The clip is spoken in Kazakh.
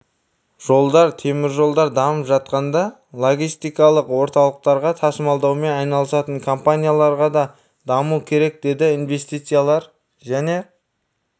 жолдар теміржолдар дамып жатқанда логистикалық орталықтарға тасымалдаумен айналысатын компанияларға да даму керек деді инвестициялар және